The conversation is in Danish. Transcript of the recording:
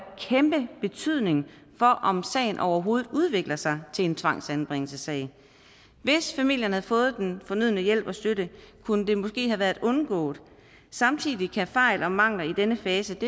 kæmpe betydning for om sagen overhovedet udvikler sig til en tvangsanbringelsessag hvis familien havde fået den fornødne hjælp og støtte kunne det måske have været undgået samtidig kan fejl og mangler i denne fase